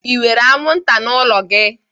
enwere anwụnta n'ụlọ gị?